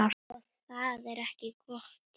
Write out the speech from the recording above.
Og það er ekki gott.